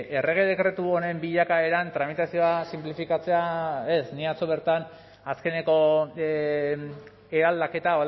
errege dekretu honen bilakaeran tramitazioa sinplifikatzea ez ni atzo bertan azkeneko eraldaketa